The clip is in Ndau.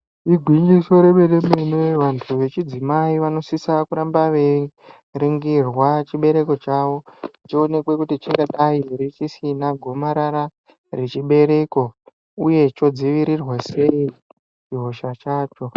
Igwinyiso remene-mene, vantu vechidzimai vanosisa kuramba veiringirwa chibereko chavo, chionekwe kuti chingadai here chisina gomarara rechibereko, uye chodzivirirwa sei chihosha chacho.